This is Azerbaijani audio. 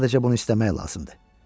Sadəcə bunu istəmək lazımdır.